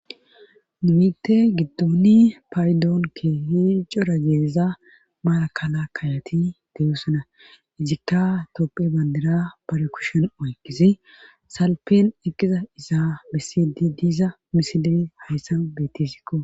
Mite giddoni paydoonke hiico ra geeeza maarakala kayati deyosana ijikka topphe bandira palekushon oykisi salpen eqqiza iza besidi diiza misidii hayssan bettisikko,